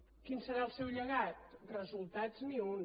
quin serà el seu llegat resultats ni un